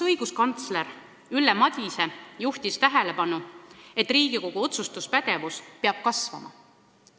Õiguskantsler Ülle Madise juhtis meie tähelepanu sellele, et Riigikogu otsustuspädevus peab kasvama.